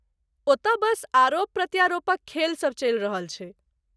ओतय बस आरोप प्रत्यारोपक खेल सभ चलि रहल छै।